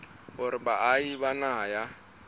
hore baahi ba naha ya